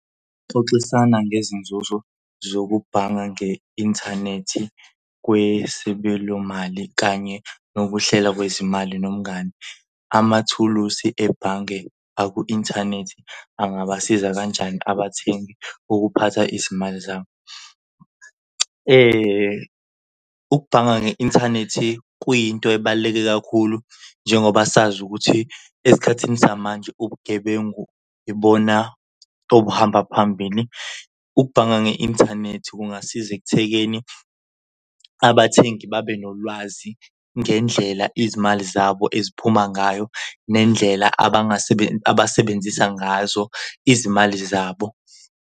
Xoxisana ngezinzuzo zokubhanga nge-inthanethi kwesibelo imali kanye nokuhlela kwezimali nomngani. Amathulusi ebhange aku-inthanethi angabasiza kanjani abathengi ukuphatha izimali zabo? Ukubhanga nge-inthanethi kuyinto ebaluleke kakhulu njengoba sazi ukuthi esikhathini samanje ubugebengu ibona obuhamba phambili. Ukubhanga nge-inthanethi kungasiza ekuthekeni abathengi babe nolwazi ngendlela izimali zabo eziphuma ngayo nendlela abasebenzisa ngazo izimali zabo.